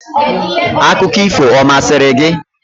Akụkọ ifo ọ masịrị gị?